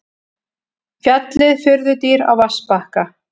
Fjallið furðudýr á vatnsbakka.